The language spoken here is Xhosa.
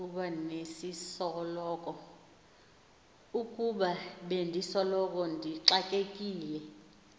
ukuba bendisoloko ndixakekile